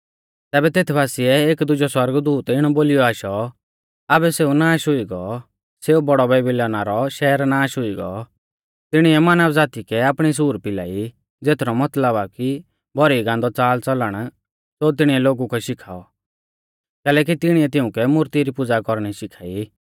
तैबै तेत बासिऐ एक दुजौ सौरगदूत इणौ बोलिऔ आशौ आबै सेऊ नाष हुई गौ सेऊ बौड़ौ बेबीलौना रौ शैहर नाष हुई गौ तिणिऐ मानव ज़ाती कै आपणी सूर पिलाई ज़ेथरौ मतलब आ कि भौरी गान्दौ च़ालच़लण ज़ो तिणीऐ लोगु कै शिखाऔ कैलैकि तिणीऐ तिउंकै मुर्ती री पुज़ा कौरणी शिखाई